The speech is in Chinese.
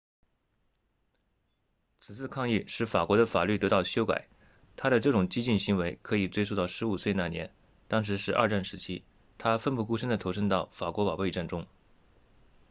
此次抗议使法国的法律得到修改他的这种激进行为可以追溯到15岁那年当时是二战时期他奋不顾身地投身到法国保卫战中